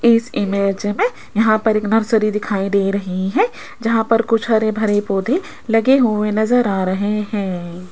इस इमेज में यहां पर एक नर्सरी दिखाई दे रही है जहां पर कुछ हरे भरे पौधे लगे हुए नजर आ रहे हैं।